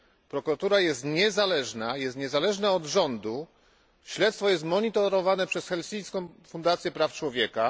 Prokuratura jest niezależna, również niezależna od rządu, śledztwo jest monitorowane przez Helsińską Fundację Praw Człowieka.